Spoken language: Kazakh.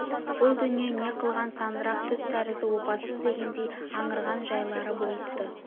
бұл дүние не қылған сандырақ түс тәрізді опасыз дегендей аңырған жайлары болыпты